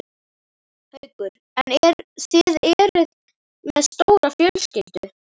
Haukur: En þið, eruð þið með stóra fjölskyldu?